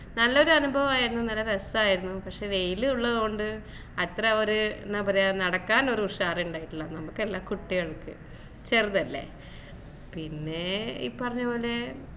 നല്ലൊരു അനുഭവായിരുന്നു നല്ല രസായിരുന്നു പക്ഷെ വെയില് ഉള്ളത് കൊണ്ട് അത്ര ഒരു എന്ന പറയാ നടക്കാൻ ഒരു ഉഷാർ ഉണ്ടായില്ല നമ്മക്ക് അല്ല കുട്ടികൾക്ക് ചെറുതല്ലേ പിന്നേ ഇപ്പറഞ്ഞപോലെ